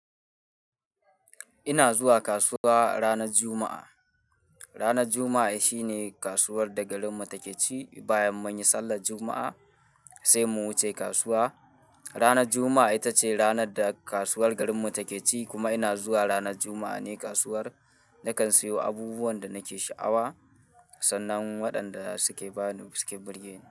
Ina zuwa kasuwa ranar Juma'a. Ranar Juma'a shi ne kasuwar da garinmu take ci. Bayan mun yi sallar Juma'a, sai mu wuce kasuwa. Ranar Juma'a ita ce ranar da kasuwar garinmu take ci kuma ina zuwa ranar Juma'a ne kasuwar. Nakan siyo abubuwan da nake sha'awa, sannan waɗanda suke bani birgeni.